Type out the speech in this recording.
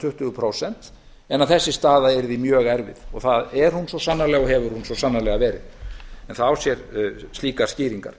tuttugu prósent en að þessi staða yrði mjög erfið og það er hún svo sannarlega og hefur verið það á sér slíkar skýringar